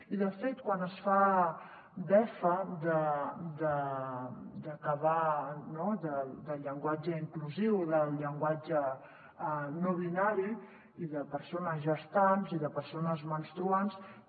i de fet quan es fa befa del llenguatge inclusiu del llenguatge no binari i de persones gestants i de persones menstruals